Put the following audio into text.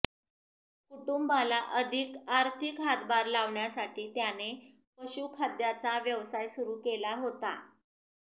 कुटूंबाला अधिक आर्थिक हातभार लावण्यासाठी त्याने पशुखाद्याचा व्यवसाय सुरू केला होता